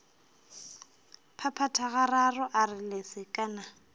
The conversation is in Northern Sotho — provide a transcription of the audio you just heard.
phaphatha gararo a re lesekana